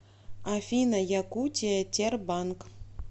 афина якутия тербанк